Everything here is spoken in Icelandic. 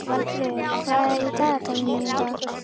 Valfríður, hvað er í dagatalinu mínu í dag?